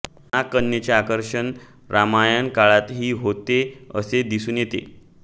नागकन्यांचे आकर्षण रामायण काळातही होते असे दिसून येते